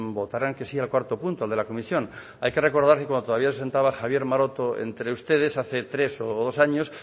votaran que sí al cuarto punto al de la comisión hay que recordar que cuando todavía se sentaba javier maroto entre ustedes hace tres o dos años